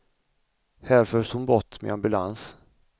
Här förs hon bort med ambulans.